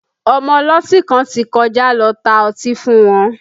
Ọmọ ọlọ́tí kan ti kọjá lọ tá ọtí fún wọn